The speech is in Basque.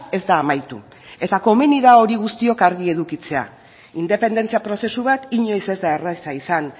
ez da amaitu eta komeni da hori guztiok argi edukitzea independentzia prozesu bat inoiz ez da erraza izan